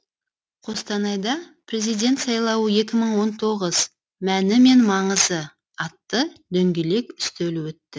қостанайда президент сайлауы екі мың он тоғыз мәні мен маңызы атты дөңгелек үстел өтті